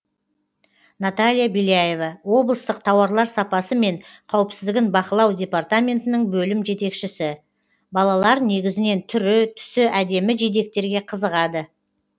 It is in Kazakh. наталья беляева облыстық тауарлар сапасы мен қауіпсіздігін бақылау департаментінің бөлім жетекшісі балалар негізінен түрі түсі әдемі жидектерге қызығады